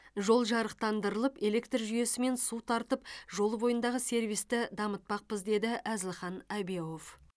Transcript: жол жарықтандырылып электр жүйесі мен су тартып жол бойындағы сервисті дамытпақпыз деді әзілхан әбеуов